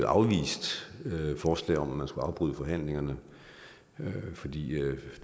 afvist forslag om at man skulle afbryde forhandlingerne fordi